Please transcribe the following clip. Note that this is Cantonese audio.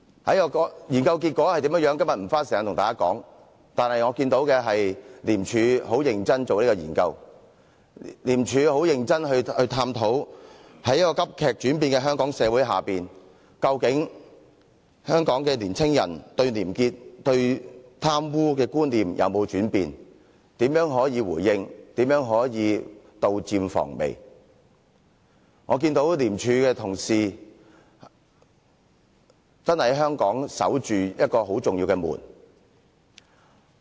我今天不會花時間跟大家說該研究的結果，但我看到的是廉署認真地做這項研究，廉署非常認真地探討在急劇轉變的香港社會內，究竟香港的青年對廉潔和貪污的觀念有沒有轉變、如何作回應、如何可以杜漸防微；我看到廉署的同事真的為香港守着很重要的門。